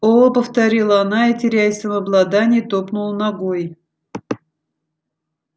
о повторила она и теряя самообладание топнула ногой